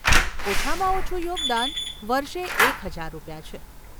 ઓછામાં ઓછું યોગદાન વર્ષે એક હજાર રૂપિયા છે.